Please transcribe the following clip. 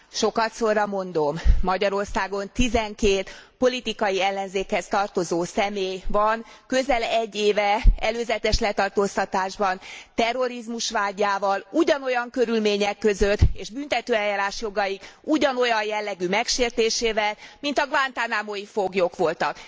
Sokadszorra mondom, Magyarországon tizenkét politikai ellenzékhez tartozó személy van közel egy éve előzetes letartóztatásban terrorizmus vádjával, ugyanolyan körülmények között és büntetőeljárási jogaik ugyanolyan jellegű megsértésével, mint a guantánamói foglyok voltak.